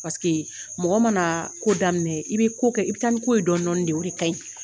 Paseke mɔgɔ mana ko daminɛ i bɛ ko kɛ i bɛ taa ni ko ye dɔni dɔni de o de ka ɲi.